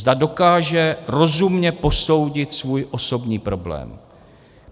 Zda dokáže rozumně posoudit svůj osobní problém.